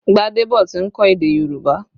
Gbadebo ti ń kọ́ èdè Yorùbá